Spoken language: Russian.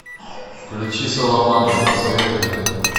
включи саламандры посоветуй мне